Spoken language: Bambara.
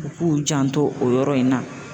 U k'u janto o yɔrɔ in na.